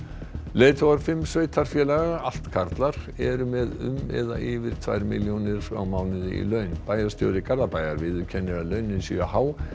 leiðtogar fimm sveitarfélaga allt karlar eru með um eða yfir tvær milljónir á mánuði í laun bæjarstjóri Garðabæjar viðurkennir að launin séu há